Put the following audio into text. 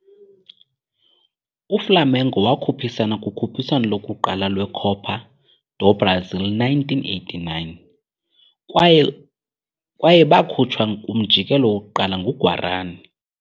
UFlamengo wakhuphisana kukhuphiswano lokuqala lweCopa do Brasil 1989, kwaye bakhutshwa kumjikelo wokuqala nguGuarani.